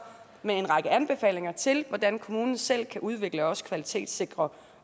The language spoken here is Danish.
med en række anbefalinger til hvordan kommunen selv kan udvikle og også kvalitetssikre